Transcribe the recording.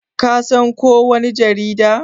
Ka san ko wani jarida?